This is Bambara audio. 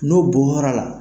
N'o bu nɔrɔ ala.